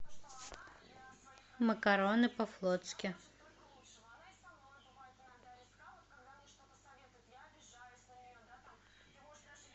макароны по флотски